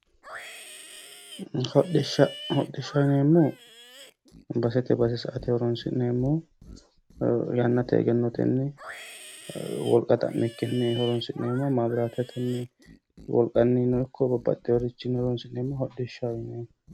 Hodhishsha hodhishshaho yineemmohu basete base sa"ate horoonsi'neemmoho yannate egenno xa'mikki woggatenni horoonsi'neemmoho caabbichu wolqannino ikko woluri horoonsi'neemmoha hodhishshaho yineemmo.